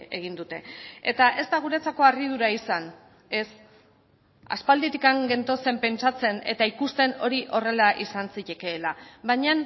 egin dute eta ez da guretzako harridura izan ez aspalditik gentozen pentsatzen eta ikusten hori horrela izan zitekeela baina